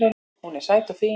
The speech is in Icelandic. Hún er sæt og fín